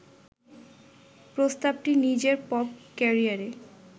প্রস্তাবটি নিজের পপ ক্যারিয়ারে